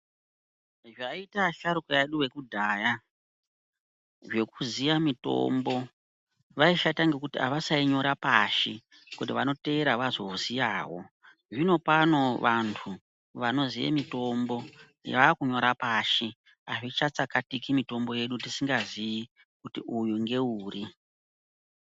Zvaiita asharuka edu vekudhaya, zvekuziya mitombo vaishata ngekuti avasainyora pashi, kuti vanoteera vazoziyawo. Zvinopano vantu, vanoziye mitombo vaakunyora pashi. Azvichatsakatiki mitombo yedu tisingaziyi, kuti uyu ngeuri .